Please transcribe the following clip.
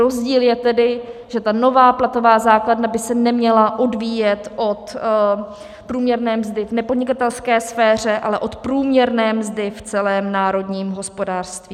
Rozdíl je tedy, že ta nová platová základna by se neměla odvíjet od průměrné mzdy v nepodnikatelské sféře, ale od průměrné mzdy v celém národním hospodářství.